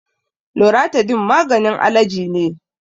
Loratidin maganin alaji ne.